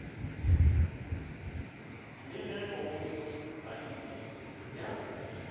le ge go padile ya